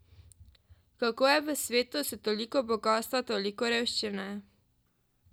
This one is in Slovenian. Kako je v svetu s toliko bogastva toliko revščine?